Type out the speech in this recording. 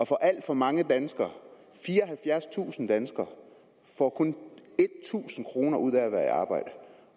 for alt for mange danskere fireoghalvfjerdstusind får kun tusind kroner ud af at være i arbejde